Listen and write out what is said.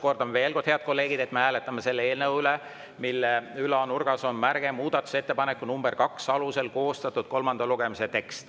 Kordan veel: head kolleegid, me hääletame selle eelnõu üle, mille ülanurgas on märge "Muudatusettepaneku nr 2 alusel koostatud kolmanda lugemise tekst".